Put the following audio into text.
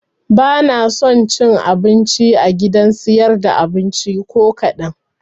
Banaso cin abinci a gidan siyar da abinci ko kaɗan